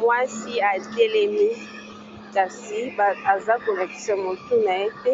Mwasi atelemi kasi aza ko lakisa motu naye te,